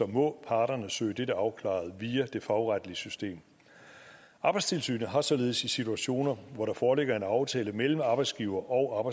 må parterne søge dette afklaret via det fagretlige system arbejdstilsynet har således i situationer hvor der foreligger en aftale mellem arbejdsgiver og